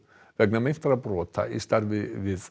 vegna meintra brota í starfi við